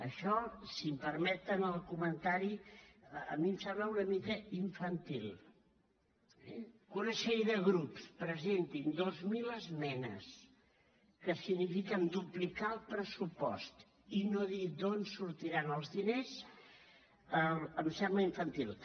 això si em permeten el comentari a mi em sembla una mica infantil eh que una sèrie de grups presentin dos mil esmenes que signifiquen duplicar el pressupost i no dir d’on sortiran els diners em sembla infantil